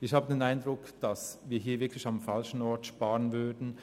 Ich habe den Eindruck, dass wir hier wirklich am falschen Ort sparen würden.